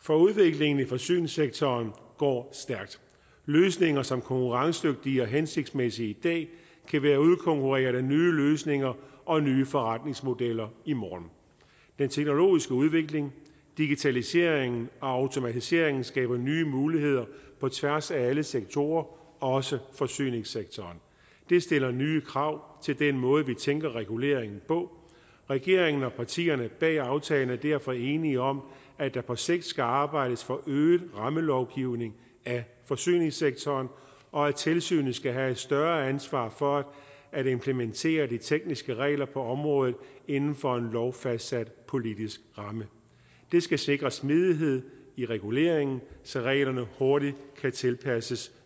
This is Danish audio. for udviklingen i forsyningssektoren går stærkt løsninger som er konkurrencedygtige og hensigtsmæssige i dag kan være udkonkurreret af nye løsninger og nye forretningsmodeller i morgen den teknologiske udvikling digitaliseringen og automatiseringen skaber nye muligheder på tværs af alle sektorer også forsyningssektoren det stiller nye krav til den måde vi tænker regulering på regeringen og partierne bag aftalen er derfor enige om at der på sigt skal arbejdes for øget rammelovgivning af forsyningssektoren og at tilsynet skal have et større ansvar for at implementere de tekniske regler på området inden for en lovfastsat politisk ramme det skal sikre smidighed i reguleringen så reglerne hurtigt kan tilpasses